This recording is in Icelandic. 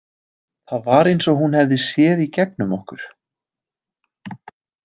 Það var eins og hún hefði séð í gegnum okkur.